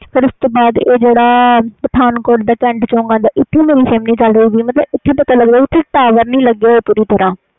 ਫਿਰ ਉਸ ਤੋਂ ਬਾਦ ਜਿਹੜਾ ਪਠਾਨਕੋਟ ਦਾ ਕੈਂਟ ਚੌਕ ਆਂਦਾ ਇਹ ਥੇ ਮੇਰੀ sim ਨਹੀਂ ਚਲਦੀ ਏਥੇ tower ਨਹੀਂ ਲਗੇ ਪੂਰੀ ਤਰਾਂ